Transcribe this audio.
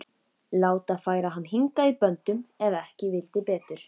Láta færa hann hingað í böndum ef ekki vildi betur.